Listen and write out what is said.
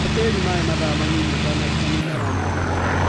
He tĩri mai mathaa manini ũtanaruta mĩmera natharĩinĩ